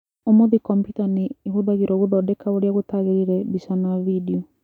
Ũmũthĩ kompiuta nĩ ihũthagĩrũo gũthondeka ũrĩa gũtagĩrĩire mbica na vidio.